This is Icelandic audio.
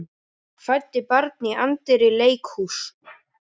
Fæddi barn í anddyri leikhúss